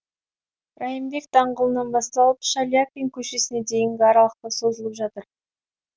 райымбек даңғылынан басталып шаляпин көшесіне дейінгі аралықта созылып жатыр